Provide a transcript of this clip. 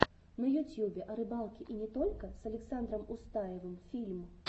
на ютьюбе о рыбалке и не только с александром устаевым фильм